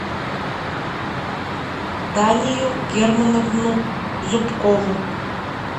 данию германовну зубкову